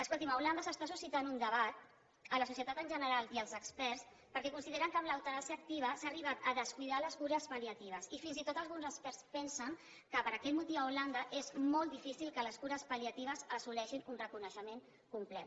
escolti’m a holanda s’està suscitant un debat en la societat en general i entre els experts perquè consideren que amb l’eutanàsia activa s’han arribat a descuidar les cures pal·liatives i fins i tot alguns experts pensen que per aquest motiu a holanda és molt difícil que les cures pal·liatives assoleixin un reconeixement complert